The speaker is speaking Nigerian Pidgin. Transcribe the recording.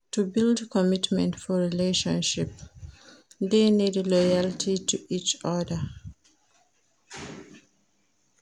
To build commitment for relationship de need loyalty to each other